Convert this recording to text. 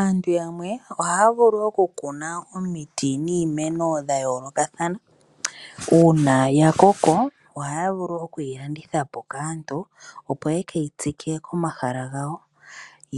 Aantu yamwe ohaya vulu oku kuna omiti niimeno ya yoolokathana. Uuna ya koko ohaya vulu oku yi landithapo kaantu opo ye keyi tsike komahala gawo.